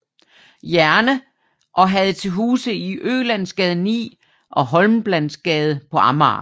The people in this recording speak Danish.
Jerne og havde til huse i Ølandsgade 9 og Holmbladsgade på Amager